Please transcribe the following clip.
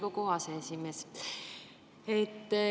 Hea ettekandja!